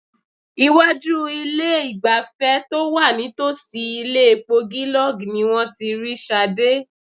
Iwájú ilé-ìgbafẹ́ to wà nítòsí ilé epo Gilog ni wọ́n ti rí Ṣadé.